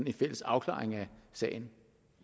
en fælles afklaring af sagen